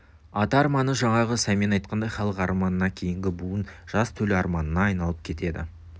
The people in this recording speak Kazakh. ата арманы жаңағы сәмен айтқандай халық арманына кейінгі буын жас төл арманына айналып кетеді